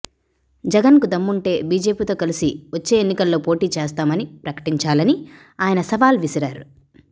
జగన్ కు దమ్ముంటే బీజేపీతో కలిసి వచ్చే ఎన్నికల్లో పోటీ చేస్తామని ప్రకటించాలని ఆయన సవాల్ విసిరారు